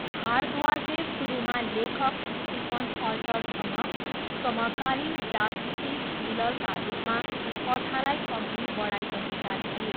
भारद्वाजले सुरुमा लेखक स्टिफन अल्टरसँग समकालीन जासुसी थ्रिलरका रूपमा कथालाई अघि बढाइरहेका थिए।